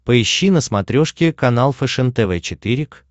поищи на смотрешке канал фэшен тв четыре к